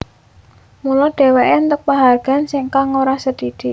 Mula dheweké entuk panghargaan kang ora sithik